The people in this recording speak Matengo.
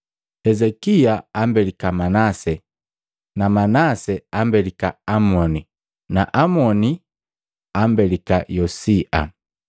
Hezekia ambelika Manase na Manase ambelika Amoni na Amoni ambelika Yosia,